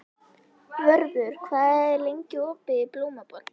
Vörður, hvað er lengi opið í Blómaborg?